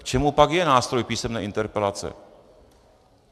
K čemu pak je nástroj písemné interpelace?